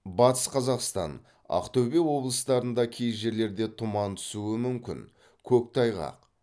батыс қазақстан ақтөбе облыстарында кей жерлерде тұман түсуі мүмкін көктайғақ